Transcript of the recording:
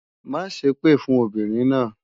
Má ṣèpè fún obìnrin náà!